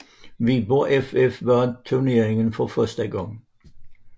Viborg FF vandt turneringen for første gang